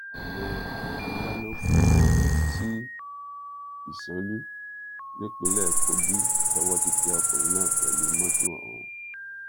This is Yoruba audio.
ọnà ndánákú sí ìsànlù nípínlẹ kogi lowó ti tẹ ọkùnrin náà pẹlú mọtò ọhún